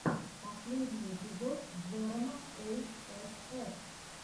последний эпизод джерома эй эс эф